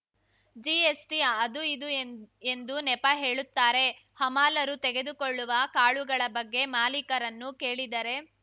GST ಅದು ಇದು ಎಂದು ನೆಪ ಹೇಳುತ್ತಾರೆ ಹಮಾಲರು ತೆಗೆದುಕೊಳ್ಳುವ ಕಾಳುಗಳ ಬಗ್ಗೆ ಮಾಲಿಕರನ್ನು ಕೇಳಿದರೆ